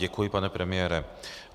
Děkuji, pane premiére.